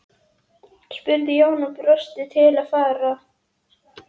spurði Jón og bjóst til að fara.